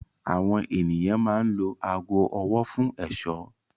Àwọn ènìyàn máa ń lo aago ọwọ́ fún ẹ̀ṣọ́.